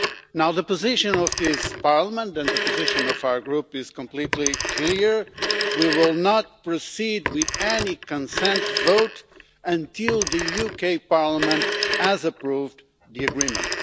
Now, the position of this Parliament and the position of our group is completely clear we will not proceed with any consent vote until the UK Parliament has approved the Agreement.